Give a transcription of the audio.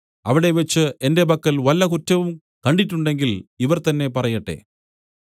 അവിടെവച്ച് എന്റെ പക്കൽ വല്ല കുറ്റവും കണ്ടിട്ടുണ്ടെങ്കിൽ ഇവർ തന്നെ പറയട്ടെ